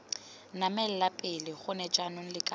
namela pele gone jaanong lakabane